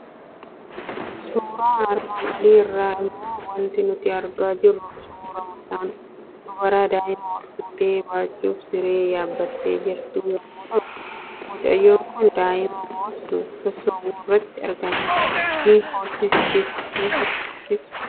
Suuraa armaan olii irraa immoo waanti nuti argaa jirru suuraa mucaan dubaraa daa'ima ol fuutee baachuuf siree yaabbattee jirtu yommuu ta'u, mucayyoon kun daa'ima boossu sossobuu irratti argamti. Ni haasofsiistis!